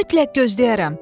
Mütləq gözləyərəm.